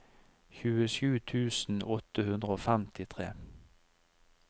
tjuesju tusen åtte hundre og femtitre